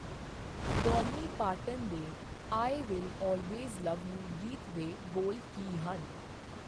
Dolly Parton ਦੇ I will always love you ਗੀਤ ਦੇ ਬੋਲ ਕੀ ਹਨ ?